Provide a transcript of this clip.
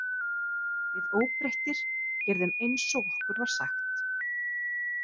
Við óbreyttir gerðum eins og okkur var sagt.